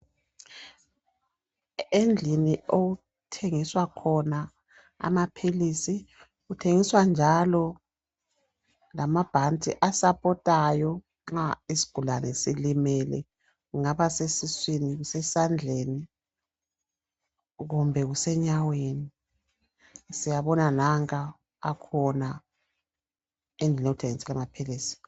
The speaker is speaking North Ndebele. Endlini okuthengiswa khona amaphilisi kuthengiswa njalo lamabhanti asapotayo nxa isigulane silimele kungaba sesuswini kusesandleni kumbe kusenyaweni siyabona nanka akhona endlini okuthengiswa amaphilisi.